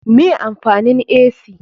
Me amfanin ac?